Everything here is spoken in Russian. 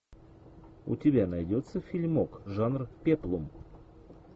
у тебя найдется фильмок жанр пеплум